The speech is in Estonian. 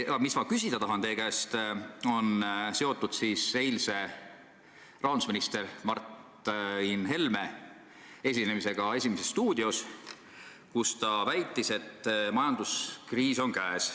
Aga ma tahan küsida teie käest seoses eilse rahandusminister Martin Helme esinemisega "Esimeses stuudios", kus ta väitis, et majanduskriis on käes.